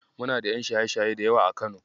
Muna da ƴan shaye-shaye da yawa a Kano.